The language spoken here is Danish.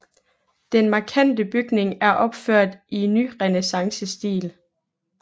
Den markante bygning er opført i nyrenæssancestil